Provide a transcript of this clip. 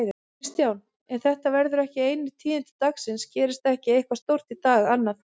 Kristján: En þetta verða ekki einu tíðindi dagsins, gerist ekki eitthvað stórt í dag annað?